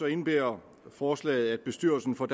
indebærer forslaget at bestyrelsen for